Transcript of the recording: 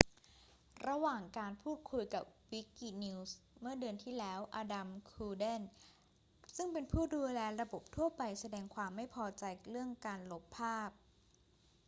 ระหว่างการพูดคุยกับ wikinews เมื่อเดือนที่แล้ว adam cuerden ซึ่งเป็นผู้ดูแลระบบทั่วไปแสดงความไม่พอใจเรื่องการลบภาพ